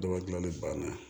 Dɔ ka gilanni banna